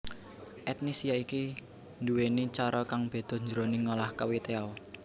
Etnis yaiki nduwèni cara kang beda jroning ngolah kwetiau